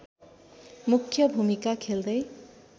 मुख्य भूमिका खेल्दै